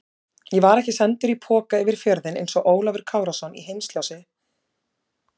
Ég var ekki sendur í poka yfir fjörðinn einsog Ólafur Kárason í Heimsljósi eftir Halldór